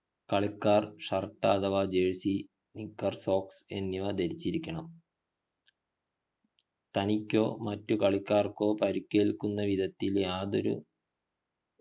കളിക്കാർ shirt അഥവാ jercy knicker socks എന്നിവ ധരിച്ചിരിക്കണം തനിക്കോ മാറ്റുകളിക്കാർക്കോ പരിക്കേൽക്കുന്ന വിധത്തിൽ യാതൊരു